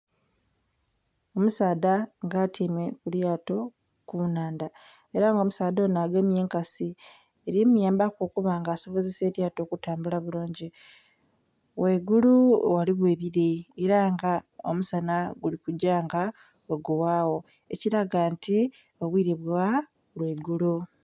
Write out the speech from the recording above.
Omusaadha nga atyaime ku lyato ku nnhandha ela nga omusaadha onho agemye enkasi eli muyambaku okuba nga asobozesa elyato okutambula bulungi. Ghaigulu ghaligho ebire ela nga omusana guli kugya nga bwegughagho ekilaga nti obwire bwa lwaigulo.